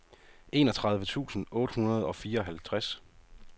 enogtredive tusind otte hundrede og fireoghalvtreds